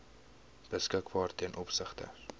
beskikbaar ten opsigte